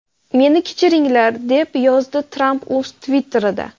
Meni kechiringlar!” deb yozdi Tramp o‘z Twitter’ida.